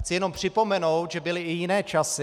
Chci jen připomenout, že byly i jiné časy.